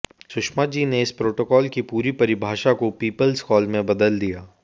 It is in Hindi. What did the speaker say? सुषमाजी ने इस प्रोटोकॉल की पूरी परिभाषा को पीपल्स कॉल में बदल दिया